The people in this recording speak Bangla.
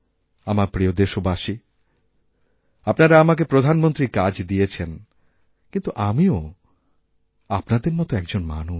আমার প্রিয়দেশবাসী আপনারা আমাকে প্রধানমন্ত্রীর কাজ দিয়েছেন কিন্তু আমিও আপনাদের মতো এক জনমানুষ